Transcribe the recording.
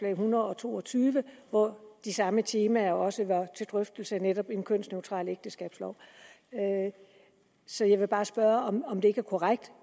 en hundrede og to og tyve hvor de samme temaer også var til drøftelse netop en kønsneutral ægteskabslov så jeg vil bare spørge om om det ikke er korrekt